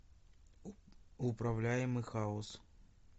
управляемый хаос